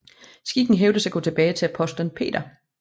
Skikken hævdes at gå tilbage til apostelen Peter